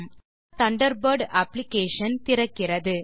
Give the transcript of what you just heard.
Mozilla Thunderbird application திறக்கிறது